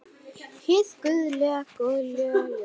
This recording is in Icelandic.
Hið guðlega góðlega ljós.